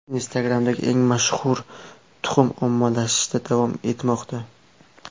Instagram’dagi eng mashhur tuxum ommalashishda davom etmoqda.